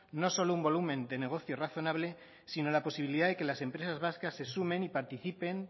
no solo un volumen de negocio razonable si no la posibilidad de que las empresas vascas se sumen y participen